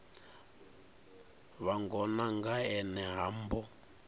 vhangona nga ene ha mbo